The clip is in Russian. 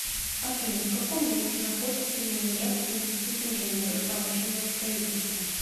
афина в каком месте находится ленинградский институт инженеров промышленного строительства